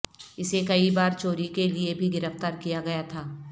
اسے کئی بار چوری کے لئے بھی گرفتار کیا گیا تھا